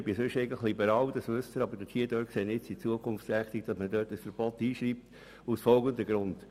Sonst bin ich eigentlich liberal, Sie wissen das, aber hier finde ich es besser, ein Verbot aufzunehmen, und zwar aus folgenden Gründen: